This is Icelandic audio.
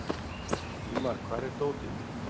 Íma, hvar er dótið mitt?